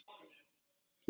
Getur þú leyst orðin?